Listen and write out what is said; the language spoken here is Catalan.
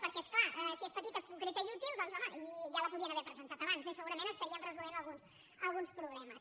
perquè és clar si és petita concreta i útil doncs home ja la podien haver presentat abans no i segurament estaríem resolent alguns problemes